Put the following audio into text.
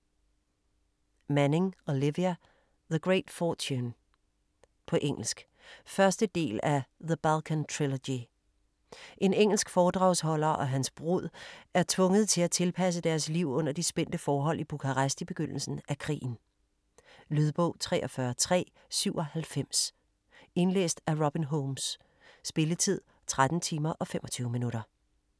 Manning, Olivia: The great fortune På engelsk. 1. del af The Balkan trilogy. En engelsk foredragsholder og hans brud er tvunget til at tilpasse deres liv under de spændte forhold i Bukarest i begyndelsen af krigen. Lydbog 43397 Indlæst af Robin Holmes Spilletid: 13 timer, 25 minutter.